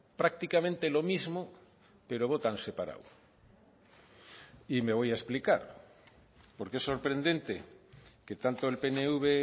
prácticamente lo mismo pero votan separado y me voy a explicar porque es sorprendente que tanto el pnv